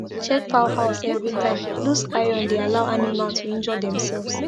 check fowl house every time loose iron dey allow animal to injure demselves